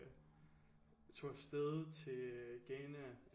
Tog afsted til Ghana